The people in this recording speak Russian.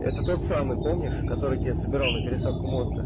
это тот самый помнишь который тебе собирал на пересадку мозга